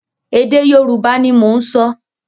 Èdè Yorùbá ni mò ń sọ.